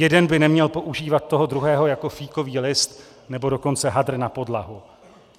Jeden by neměl používat toho druhého jako fíkový list, nebo dokonce hadr na podlahu.